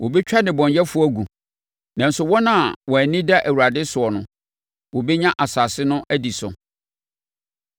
Wɔbɛtwa nnebɔneyɛfoɔ agu, nanso wɔn a wɔn ani da Awurade soɔ no, wɔbɛnya asase no adi so.